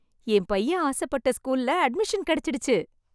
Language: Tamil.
என் பையன் ஆசப்பட்ட ஸ்கூல்ல அட்மிஷன் கிடைச்சிடுச்சு.